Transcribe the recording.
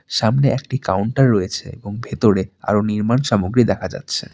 সামনে একটি কাউন্টার রয়েছে এবং ভেতরে আরও নির্মাণ সামগ্রী দেখা যাচ্ছে।